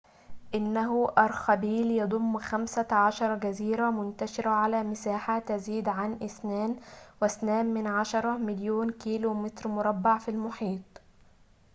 إنه أرخبيل يضم 15 جزيرة منتشرة على مساحة تزيد عن 2.2 مليون كيلومتر مربع من المحيط